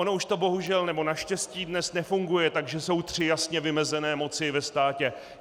Ono to bohužel, nebo naštěstí dnes nefunguje tak, že jsou tři jasně vymezené moci ve státě.